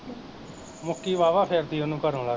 ਮੁੱਕੀ ਵਾਵਾਂ ਫਿਰਦੀ ਉਹਨੂੰ ਘਰੋਂ ਲੱਗਦੀ